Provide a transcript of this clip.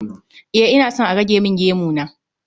E, ina so a rage min gemu na